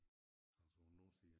Altså på nordside